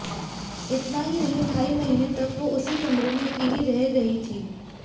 इतना ही नहीं ढाई महीने तक वो उसी कमरे में अकेली रह रही थी